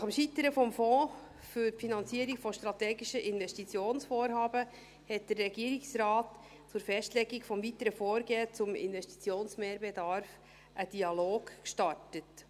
Nach dem Scheitern des Fonds zur Finanzierung von strategischen Investitionsvorhaben hat der Regierungsrat zur Festlegung des weiteren Vorgehens zum Investitionsbedarf einen Dialog gestartet.